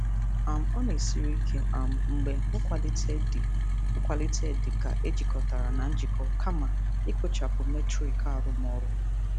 um Ọ na-esiri ike um mgbe nkwalite dị nkwalite dị ka ejikọtara na njikọ kama ikpochapụ metrik arụmọrụ.